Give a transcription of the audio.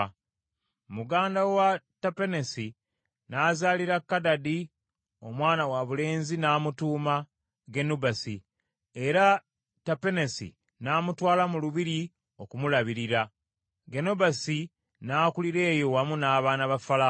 Muganda wa Tapenesi n’azaalira Kadadi omwana wabulenzi n’amutuuma Genubasi, era Tapenesi n’amutwala mu lubiri okumulabirira. Genubasi n’akulira eyo wamu n’abaana ba Falaawo.